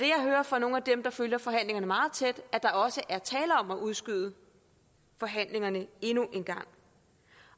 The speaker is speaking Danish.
jeg hører fra nogle af dem der følger forhandlingerne meget tæt at der også er tale om at udskyde forhandlingerne endnu en gang